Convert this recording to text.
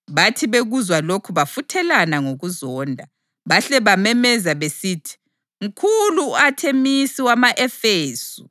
Bathi bekuzwa lokhu bafuthelana ngokuzonda, bahle bamemeza besithi, “Mkhulu u-Athemisi wama-Efesu!”